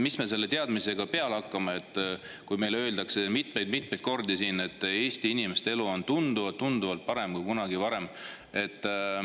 Mis me selle teadmisega peale hakkame, kui meile öeldakse siin mitmeid-mitmeid kordi, et Eesti inimeste elu on tunduvalt parem kui kunagi varem?